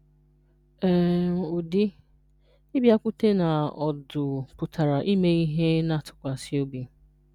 um Ụdị: Ịbịakwute na ọdụ pụtara ime ihe na-atụkwasị obi.